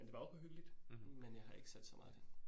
Men det var okay hyggeligt, men jeg har ikke set så meget ting